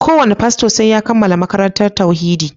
Ko wane fasto sai ya kammala makarantar tauhidi